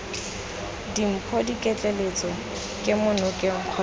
dimpho diketleetso kemo nokeng kgotsa